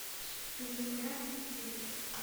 земля и тень